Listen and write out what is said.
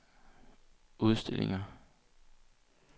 udstillinger